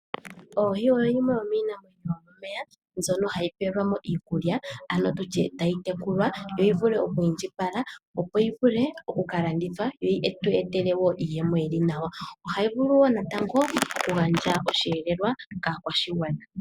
Oohi oyo yimwe yomiinamwenyo yomomeya ndjoka hayi kala tayi pelwa mo iikulya nenge tutye tayi tekulwa opo yi vule okukalanditha yo yi tu etele wo iiyemo yili naw ma ohayi vulu wo okugandja oshiyelelwa kaakwashigwana .